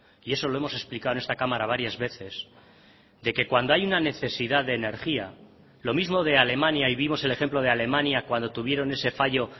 y eso lo hemos explicado en esta cámara varias veces de que cuando hay una necesidad de energía lo mismo de alemania y vimos el ejemplo de alemania cuando tuvieron ese fallo